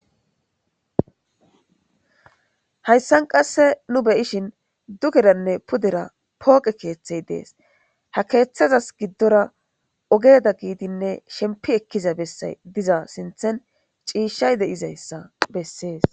Hayssan qasse nu beyishin dugeranne pudera pooqe keeththey dees ha keeththazas giddora ogeeda giidinne shempi ekkiza bessay diza sinthen ciishay de'izayssa bessees.